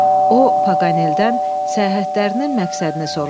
O, Paganeeldən səyahətlərinin məqsədini soruşdu.